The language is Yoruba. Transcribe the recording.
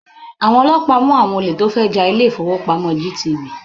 Àwọn ọlọ́pàá mú àwọn olè tó fẹ́ ja ilé-ìfópamọ́ GTB.